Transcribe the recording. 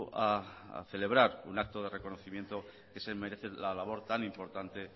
a celebrar un acto de reconocimiento que se merece la labor tan importante